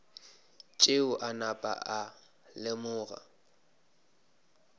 tšeo a napa a lemoga